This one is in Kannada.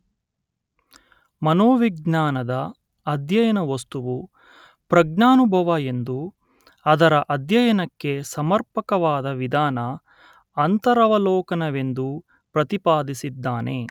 ಮನೋವಿಜ್ಞಾನದ ಅಧ್ಯಯನ ವಸ್ತುವು ಪ್ರಜ್ಞಾನುಭವ ಎಂದೂ ಅದರ ಅಧ್ಯಯನಕ್ಕೆ ಸಮರ್ಪಕವಾದ ವಿಧಾನ ಅಂತರವಲೋಕನವೆಂದೂ ಪ್ರತಿಪಾದಿಸಿದ್ದಾನೆ